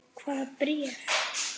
Hvaða bréf?